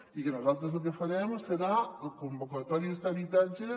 i nosaltres el que farem serà convocatòries d’habitatges